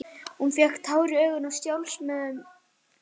Hún fékk tár í augun af sjálfsmeðaumkun.